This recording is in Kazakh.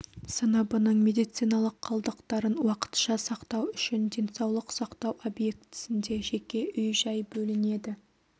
сыныбының медициналық қалдықтарын уақытша сақтау үшін денсаулық сақтау объектісінде жеке үй-жай бөлінеді